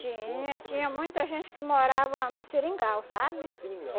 Tinha, tinha muita gente que morava no Seringal, sabe? No seringal?